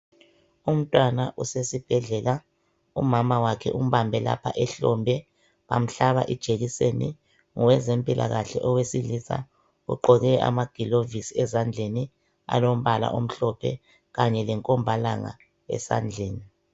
Umntwana usesibhedlela umama wakhe umbabhe lapha ehlombe bamhlaba ijekiseni ngowezempilakahle owesilisa ugqoke amaglovisi ezandleni alombala omhlophe Kanye lenkobhalanga esandleni .